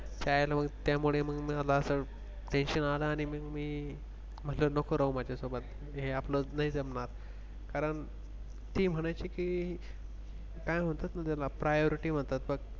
त्यामुळे मग मिळाला असेल Tension आला आणि मग मी माझं नको राहू माझ्यासोबत हे आपलं नाही जमणार कारण ती म्हणायची की काय म्हणतात ना त्याला Priority म्हणतात.